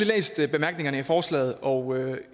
læst bemærkningerne til forslaget og